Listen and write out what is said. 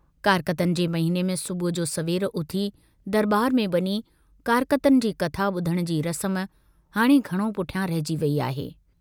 कारकतन जे महिने में सुबुह जो सवेर उथी दरबार में वञी कारकतन जी कथा बुधण जी रसम हाणे घणो पुठियां रहिजी वेई आहे।